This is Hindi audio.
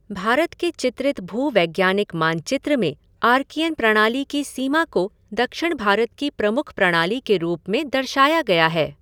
भारत के चित्रित भूवैज्ञानिक मानचित्र में आर्कियन प्रणाली की सीमा को दक्षिण भारत की प्रमुख प्रणाली के रूप में दर्शाया गया है।